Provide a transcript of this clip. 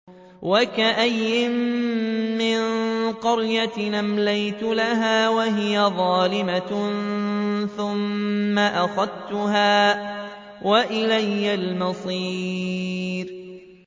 وَكَأَيِّن مِّن قَرْيَةٍ أَمْلَيْتُ لَهَا وَهِيَ ظَالِمَةٌ ثُمَّ أَخَذْتُهَا وَإِلَيَّ الْمَصِيرُ